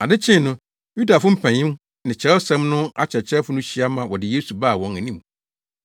Ade kyee no, Yudafo mpanyin ne Kyerɛwsɛm no akyerɛkyerɛfo no hyia ma wɔde Yesu baa wɔn anim